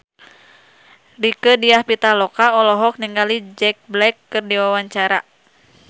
Rieke Diah Pitaloka olohok ningali Jack Black keur diwawancara